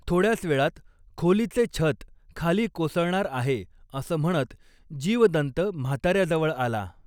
थोड्याच वेळात खोलीचे छत खाली कोसळणार आहे असं म्हणत जीवदन्त म्हातार्याजवळ आला.